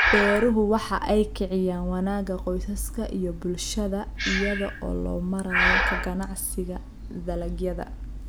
Beeruhu waxa ay kiciyaan wanaagga qoysaska iyo bulshada iyada oo loo marayo ka ganacsiga dalagyada.